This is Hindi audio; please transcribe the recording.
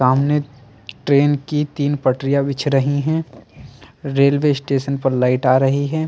सामने ट्रेन की तीन पटरिया बिछ रही हैं रेलवे स्टेशन पर लाइट आ रही है।